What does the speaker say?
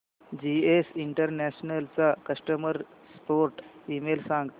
GS international चा customer support email सांग